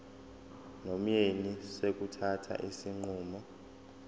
nomyeni sokuthatha isinqumo